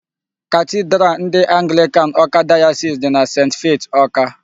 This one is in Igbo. Cathedral ndị Anglican Awka Diocese dị na St. Faith Awka.